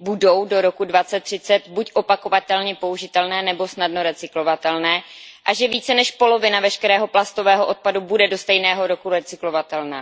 budou do roku 2030 buď opakovatelně použitelné, nebo snadno recyklovatelné, a že více než polovina veškerého plastového odpadu bude do stejného roku recyklovatelná.